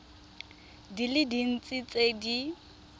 di le dintsi tse di